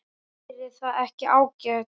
Væri það ekki ágætt?